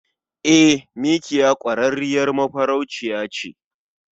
E, mikiya kwarrarriyar mafarauciya ce.